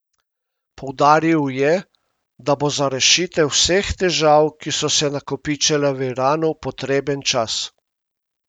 Poudaril je, da bo za rešitev vseh težah, ki so se nakopičile v Iranu, potreben čas.